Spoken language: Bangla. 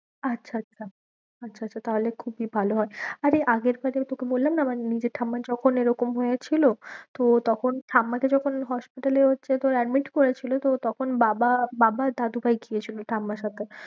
আচ্ছা আচ্ছা আচ্ছা আচ্ছা তাহলে খুবই ভালো হয়। আরে আগের বারে ওই তোকে বললাম না আমার নিজের ঠাম্মার যখন এরকম হয়েছিল তো তখন ঠাম্মাকে যখন hospital এ হচ্ছে তোর admit করেছিল তো তখন বাবা, বাবা আর দাদুভাই গিয়েছিলো ঠাম্মার সাথে